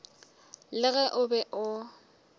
le ge o be o